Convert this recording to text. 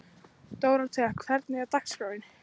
Dóróthea, hvernig er dagskráin?